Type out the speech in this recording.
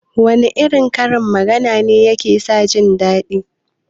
Wana irin karin magana ne yake sa jindaɗi?